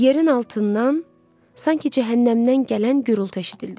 Yerin altından sanki cəhənnəmdən gələn gurultu eşidildi.